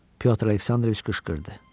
Pyotr Aleksandroviç qışqırdı.